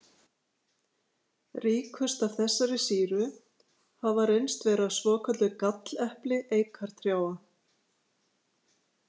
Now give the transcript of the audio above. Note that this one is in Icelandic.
Ríkust af þessari sýru hafa reynst vera svokölluð gallepli eikartrjáa.